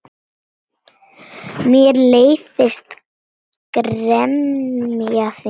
Mér leiðist gremja þín.